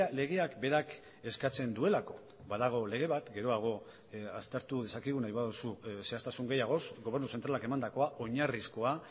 legeak berak eskatzen duelako badago lege bat geroago aztertu dezakegu nahi baduzu zehaztasun gehiagoz gobernu zentralak emandakoa oinarrizkoa